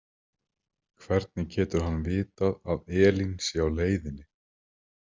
Hvernig getur hann vitað að Elín sé á leiðinni?